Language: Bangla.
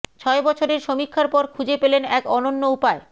ছয় বছরের সমীক্ষার পর খুঁজে পেলেন এক অনন্য উপায়